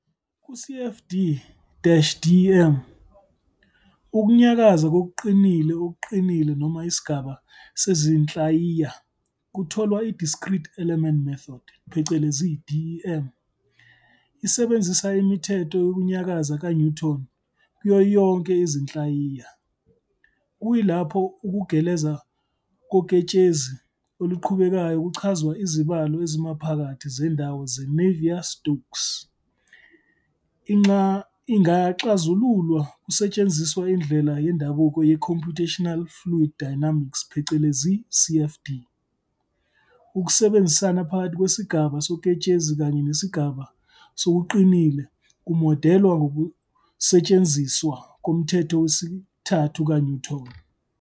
Ku-CFD-DEM, ukunyakaza kokuqinile okuqinile noma isigaba sezinhlayiya kutholwa I-Discrete Element Method, DEM, esebenzisa imithetho yokunyakaza ka-Newton kuyo yonke izinhlayiya, kuyilapho ukugeleza koketshezi oluqhubekayo kuchazwa izibalo ezimaphakathi zendawo ze-Navier-Stokes ingaxazululwa kusetshenziswa indlela yendabuko yeComputational Fluid Dynamics, CFD. Ukusebenzisana phakathi kwesigaba soketshezi kanye nesigaba sokuqinile kumodelwa ngokusetshenziswa komthetho wesithathu ka-Newton.